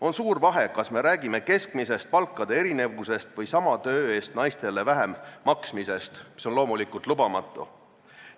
On suur vahe, kas me räägime keskmisest palkade erinevusest või sama töö eest naistele väiksema palga maksmisest, mis on loomulikult lubamatu.